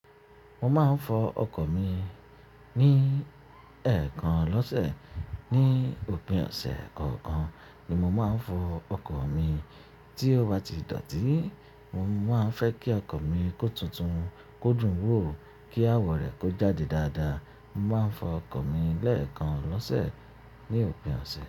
Mo máa ń fọ ọkọ̀ mi ní ẹ̀ẹ̀kan lọ́sẹ̀. Ni òpin ọ̀sẹ̀ kọ̀ọ̀kan ni mo máa ń fọ ọkọ̀ mi. Tí ó bá ti dọ̀tí, mo máa ń fẹ́ kí ọkọ̀ mi kó tuntun, kó dùn wò, kí àwọ̀ rẹ̀ kó jáde dáadáa. Mo máa ń fọ ọkọ̀ mi lẹ́ẹ̀kan lọ́sẹ̀ ní òpin ọ̀sẹ̀.